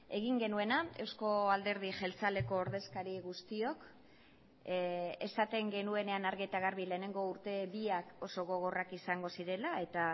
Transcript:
egin genuena euzko alderdi jeltzaleko ordezkari guztiok esaten genuenean argi eta garbi lehenengo urte biak oso gogorrak izango zirela eta